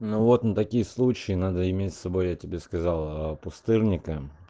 ну вот на такие случаи надо иметь с собой я тебе сказала пустырника